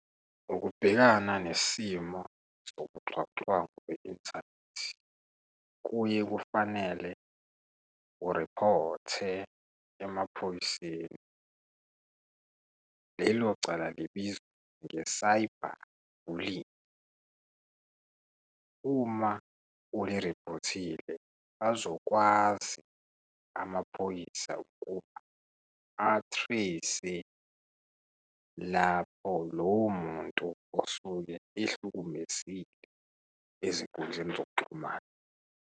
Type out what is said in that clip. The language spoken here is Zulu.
Ukubhekana nesimo sobuxhwanguxhwangu kwi-inthanethi kuye kufanele uripote emaphoyiseni. Lelocala libizwa nge-cyber bullying. Uma uliripotile, azokwazi amaphoyisa ukuba a-trace-e lapho lowo muntu osuke ehlukumezile ezinkundleni zokuxhumana.